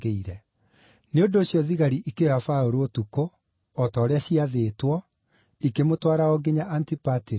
Nĩ ũndũ ũcio thigari ikĩoya Paũlũ ũtukũ o ta ũrĩa ciaathĩtwo, ikĩmũtwara o nginya Antipatiri.